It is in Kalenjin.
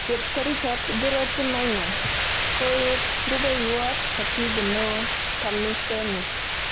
Chepkerichot Dorothy Maina koik rubewot Katibu Neo TAMISEMI.